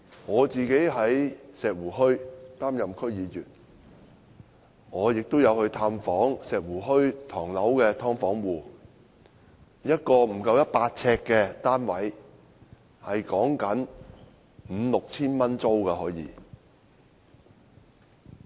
我在石湖墟擔任區議員，曾探訪石湖墟的"劏房"戶，一個不足百呎的單位，租金可達至 5,000 元至 6,000 元。